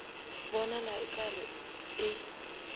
bonala o ka re e